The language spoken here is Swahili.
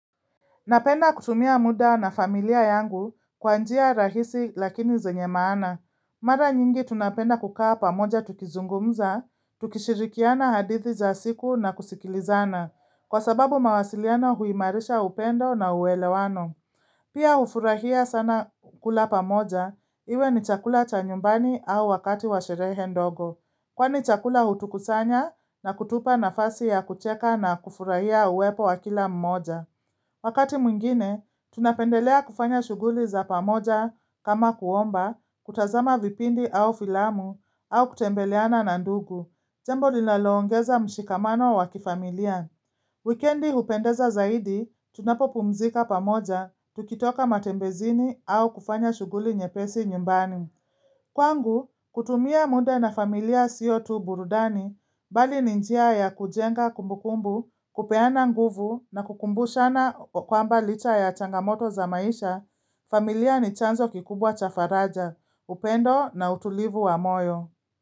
Napenda kutumia muda na familia yangu kwa njia rahisi lakini zenye maana. Mara nyingi tunapenda kukaa pamoja tukizungumza, tukishirikiana hadithi za siku na kusikilizana, kwa sababu mawasiliano huimarisha upendo na uelewano. Pia hufurahia sana kula pamoja, iwe ni chakula cha nyumbani au wakati wa sherehe ndogo. Kwani chakula hutukusanya na kutupa nafasi ya kucheka na kufurahia uwepo wa kila mmoja. Wakati mwingine, tunapendelea kufanya shughuli za pamoja kama kuomba, kutazama vipindi au filamu, au kutembeleana na ndugu. Jambo linaloongeza mshikamano wa kifamilia. Wikendi hupendeza zaidi, tunapopumzika pamoja, tukitoka matembezini au kufanya shuguli nyepesi nyumbani. Kwangu, kutumia muda na familia sio tu burudani, bali ni njia ya kujenga kumbukumbu, kupeana nguvu na kukumbushana kwamba licha ya changamoto za maisha, familia ni chanzo kikubwa cha faraja, upendo na utulivu wa moyo.